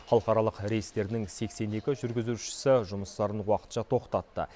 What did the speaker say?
халықаралық рейстердің сексен екі жүргізушісі жұмыстарын уақытша тоқтатты